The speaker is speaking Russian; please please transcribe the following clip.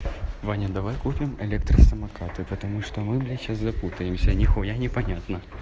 иван давай купим электросамокаты потому что мы блядь сейчас запутаемся нихуя не понятно